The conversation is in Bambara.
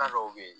dɔw bɛ ye